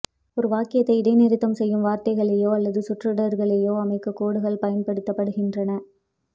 ஒரு வாக்கியத்தை இடைநிறுத்தம் செய்யும் வார்த்தைகளையோ அல்லது சொற்றொடர்களையோ அமைக்கக் கோடுகள் பயன்படுத்தப்படுகின்றன